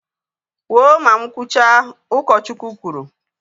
Kwụọ ma mụ kwụcha! Ụkọchukwu kwuru